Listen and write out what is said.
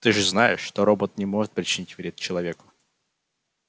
ты же знаешь что робот не может причинить вред человеку